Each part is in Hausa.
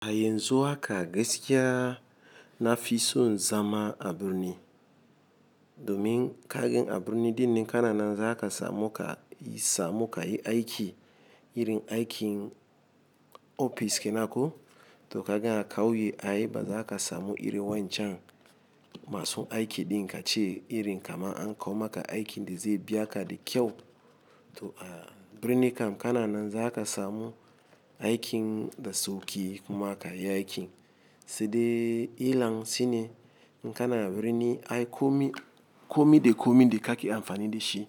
A yanzu haka gaskiya na fi son zama a birni domin ka ga a birni ɗinnan kana nan za ka samu kayi samu ka yi aiki irin aikin ofis kenan ko to kanga a ƙauye ai ba za ka samu ire wancan masu aiki ɗin ka ce irin kamar an kawo maka aikin da zai biya ka da kyau. To a birni kam kana nan za ka samu aikin da sauki kuma ka yi aikin. Sai de illar shine in kana a birni ai komi komi da komi da kaki amfani da shi.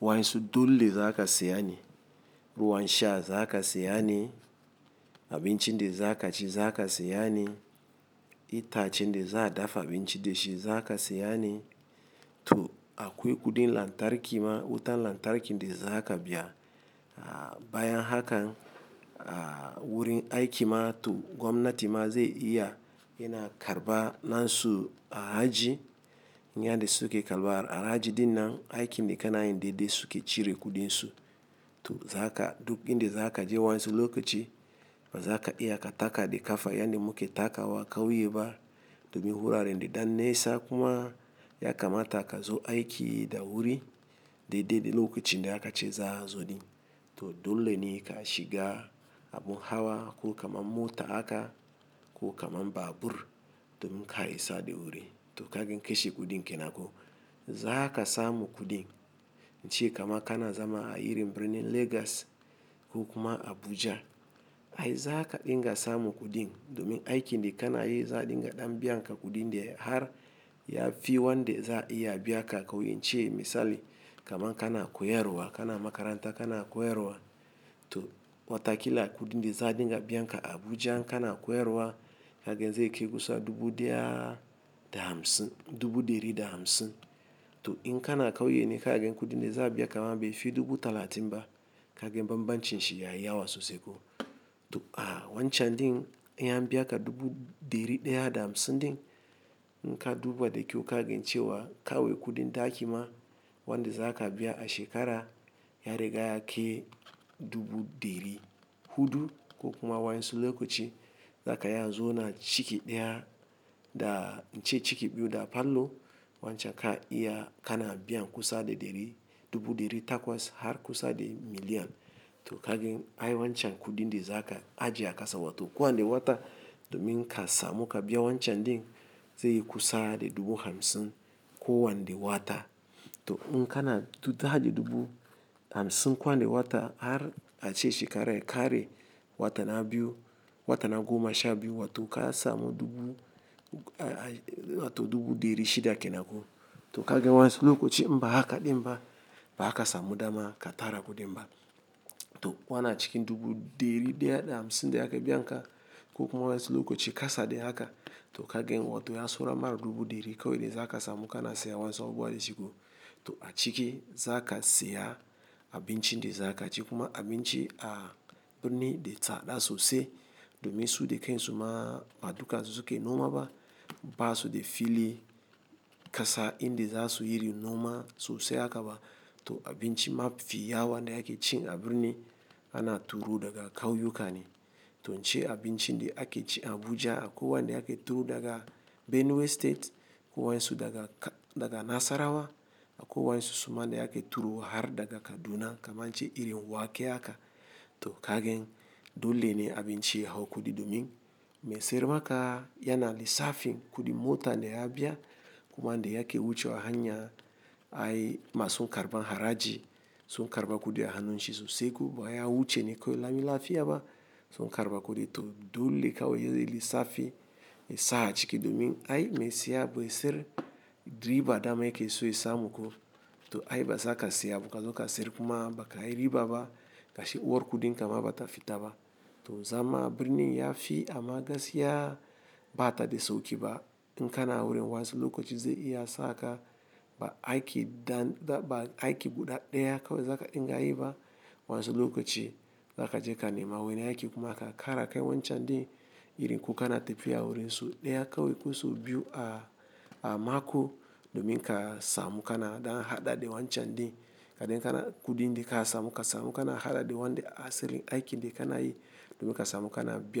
Wa ƴansu dole za ka siye ne, ruwan sha za ka siya ne, abinci da za ka ci za ka siya ne, itace da za'a dafa abinci da shi za ka siya ne. To akwai kuɗin lantarki ma, wutan lantarki da za ka biya. A bayan hakan a wurin aiki ma to gwamnati ma zai iya yana karɓa na su haraji. Yan da suke karɓar haraji ɗin nan aikin da kanayi dai-dai suke cire kuɗin su. To za ka duk inda za ka je waƴansu lokaci ba za ka iya ka taka da kafa yadda muke takawa kauye ba domin wurare dai ɗan nesa kuma ya kamata ka zo aiki da wuri dai-dai da lokacin da aka ce za zo ɗin. To dole ne ka shiga abun hawa ko kamar mota aka ko kamar babur domin ka isa da wuri. To kagan kashe kuɗin ke nan ko, za ka samu kuɗin. In ce kamar kana zama a irin birnin Legas ko kuma Abuja ai za ka dinga samu kuɗin domin aikin da kana yi za dinga ɗan biya ka kuɗin da har ya fi wanda za iya biya ka kauye. In ce misali kamar kana koyarwa kana makaranta kana koyarwa to watakila kuɗin da za dinga biyan ka a Abuja kana koyarwa kaga zai kai kusa dubu ɗaya da hamsin, dubu ɗari da hamsin. To in kana kauye ne kaga kuɗin da za'a biya ka bai fi dubu talatin ba kaga banbancin shi ya yi yawa sosai ko. To a wancan ɗin in ya biya ka dubu ɗari ɗaya da hamsin din in ka duba da kyau kagan ce wa kawai kuɗin taki ma wanda za ka biya a shekara ya riga ya kai dubu ɗari huɗu ko kuma waƴansu lokaci za ka iya zo na ciki ɗaya da in ce ciki biyu da falo wancan ka iya kana biyan kusa da ɗari dubu ɗari takwas har kusa da miliyan. To kaga ni ai wancan kuɗin da za ka ajiye a ƙasa wa to kowanne wata domin ka samu ka biya wancan din zai yi kusa da dubu hamsin kowane wata. To in kana ta haɗa dubu hamsin kowan de wata har a ce shekara ya kare watan biyu watan ago masha biyu watan ka samu dubu a to dubu ɗari shida ke nan ko. To kaga waɗansu lokaci inba haka ɗin ba ba zaka samu dama ka tara kuɗin ba. To wanan ciki dubu ɗeri ɗaya da hamsin da aka biya ka ko kuma waɗansu lokaci kasa da haka to kaga wato ya saura ma dubu ɗeri kawai da za ka samu kana sayan waɗansu abubuwa dashi ko. To a ciki za ka siya abinci da zakaci kuma abinci a birni da tsada sosai domin su dakansu ma ba dukansu suke noma ba to in kana ta haɗa dubu hamsin kowan de wata har a ce shekara ya kare watan biyu watan ago masha biyu watan ka samu dubu a to dubu ɗari shida ke nan ko. To abinci mafi yawa da ake ci a birni ana turo daga ƙauyuka ne. To in ce abinci da ake ci Abuja akwai wanda ake turo daga Benue state ko waʼyansu daga daga Nasarawa akwai waɗansu suma da ake turo har daga Kaduna kamar in ce irin wake haka. To kagani dole ne abinci ya hau kuɗi domin mai sayarmaka yana lissafi kuɗin mota da ya biya kuma da yake wucewa hanya ai masu karɓan haraji sun karɓa kuɗi a hannun shi sosai ko baya wuce ne kawai lami lafiya ba sun karɓa kuɗi. To dole kawo ya yi lissafi mai sa a ciki domin ai mai siya bai san riba dama yake so ya samu ko. To ai ba za ka saya ba kazo ka sayar kuma ba ka yi riba ba gashi uwar kuɗin kama bata fita ba. To zama a birni ya fi amma gaskiya bata da sauƙi ba. In kana wurin waɗansu lokaci zai iya saka ba aiki dan ba aiki guda ɗaya kawai zaka ɗinga yiba waɗansu lokaci za ka je ka nema wani aiki kuma aka ƙara kan wancan din irin ko kana tafiya wurin su ɗaya kawai ko sau biyu a a mako domin ka samu kana ɗan haɗada wancan din kaɗai kana kuɗin da ka samu ka samu kana haɗada wanda asalin aikin da kana yi domin ka samu kana biya.